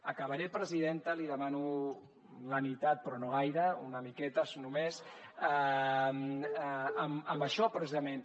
acabaré presidenta li demano la mitat però no gaire una miqueta només amb això precisament